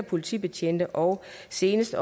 politibetjente og senest